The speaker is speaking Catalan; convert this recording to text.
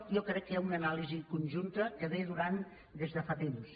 jo crec que hi ha una anàlisi conjunta que dura des de fa temps